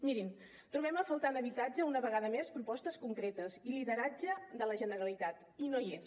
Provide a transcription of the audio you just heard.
mirin trobem a faltar en habitatge una vegada més propostes concretes i lideratge de la generalitat i no hi és